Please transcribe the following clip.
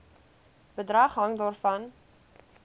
bedrag hang daarvan